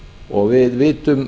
og við vitum